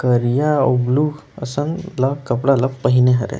करिया अउ ब्लू कसन ला कपड़ा ला पहिने हरे।